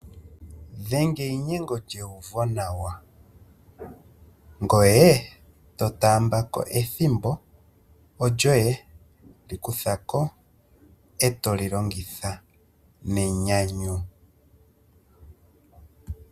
Dhenga einyengo lyeuvonawa, ngoye to taamba ko ethimbo, olyoye, likutha ko eto li longitha nenyanyu.